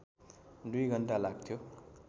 दुई घण्टा लाग्थ्यो